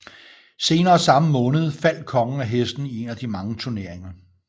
Senere samme måned faldt kongen af hesten i en af de mange turneringer